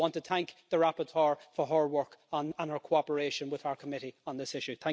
I want to thank the rapporteur for her work and her cooperation with our committee on this issue.